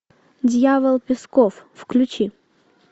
дьявол песков включи